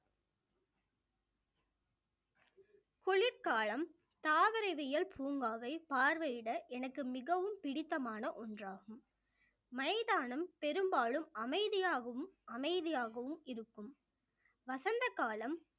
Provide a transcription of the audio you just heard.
குளிர்காலம் தாவரவியல் பூங்காவை பார்வையிட எனக்கு மிகவும் பிடித்தமான ஒன்றாகும் மைதானம் பெரும்பாலும் அமைதியாகவும் அமைதியாகவும் இருக்கும் வசந்த காலம்